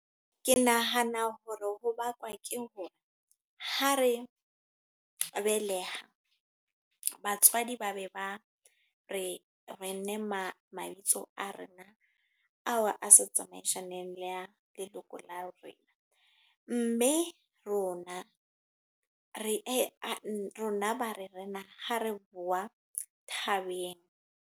Ke nahana hore ho bakwa ke hore, ha re beleha, batswadi ba be ba re re nne ma mabitso a rena. Ao a sa tsamaisaneng le ya leloko la rona. Mme rona, rona ba re re na ha re boa thabeng.